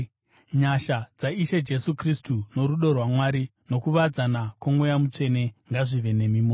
Nyasha dzaIshe Jesu Kristu, norudo rwaMwari, nokuwadzana kwoMweya Mutsvene ngazvive nemi mose.